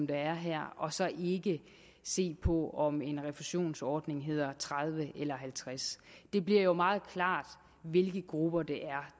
der er her og så ikke se på om en refusionsordning hedder tredive eller halvtreds det bliver jo meget klart hvilke grupper det